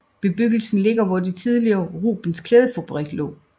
Bebyggelsen ligger hvor det tidligere Rubens Klædefabrik lå